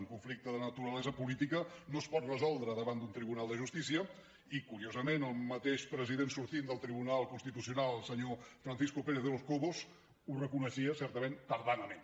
un conflicte de naturalesa política no es pot resoldre davant d’un tribunal de justícia i curiosament el mateix president sortint del tribunal constitucional el senyor francisco pérez de los cobos ho reconeixia certament tardanament